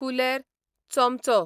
कुलेर, चोमचो